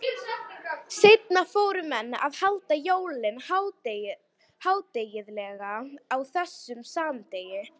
Seinna fóru kristnir menn að halda jólin hátíðleg á þessum sama degi.